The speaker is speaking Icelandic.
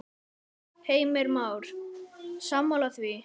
Heimir Már: Sammála því?